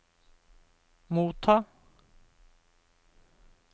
motta